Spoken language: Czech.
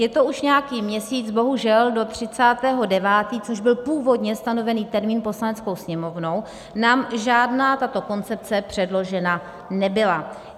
Je to už nějaký měsíc, bohužel do 30. 9., což byl původně stanovený termín Poslaneckou sněmovnou, nám žádná tato koncepce předložena nebyla.